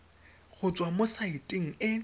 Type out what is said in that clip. go tswa mo saeteng e